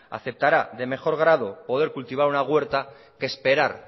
aceptará de mejor grado poder cultivar una huerta que esperar